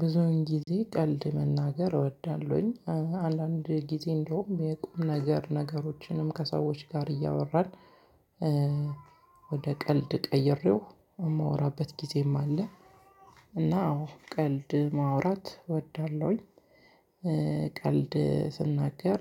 ብዙውን ጊዜ ቀልድ መናገር እወዳለሁኝ። አንዳንድ ጊዜ እንደውም የቁም ነገር ነገሮችንም ከሰዎች ጋር እያወራን ወደ ቀልድ ቀይሬው የማወራበት ጊዜም አለ። እና አዎ ቀልድ ማውራት እወዳለሁኝ። ቀልድ ስናገር